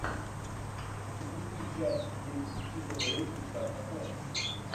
запусти часть десять чип и дейл спешат на помощь